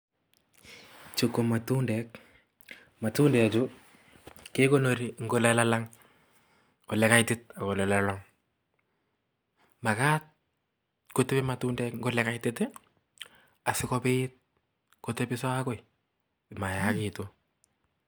chu komatundek. matundechu koekonori eng olelangng , olekaitik ak olellangang. makat kotepi matundek eng olekaitit sikopit kotepiso agoi simayagitu.